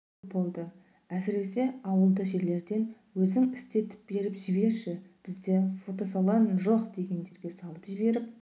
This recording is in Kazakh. көп болды әсіресе ауылды жерлерден өзің істетіп беріп жіберші бізде фотосалон жоқ дегендерге салып жіберіп